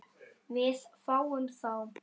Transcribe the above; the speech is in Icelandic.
Við fáum þá